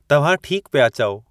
तव्हां ठीक पिया चओ।